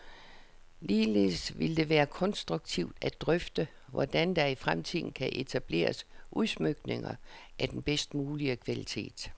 Ligeledes vil det være konstruktivt at drøfte, hvordan der i fremtiden kan etableres udsmykninger af den bedst mulige kvalitet.